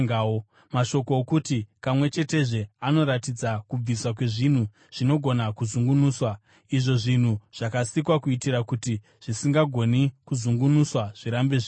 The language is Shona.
Mashoko okuti, “Kamwe chetezve” anoratidza kubviswa kwezvinhu zvinogona kuzungunuswa, izvo zvinhu zvakasikwa, kuitira kuti zvisingagoni kuzungunuswa zvirambe zviripo.